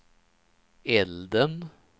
elden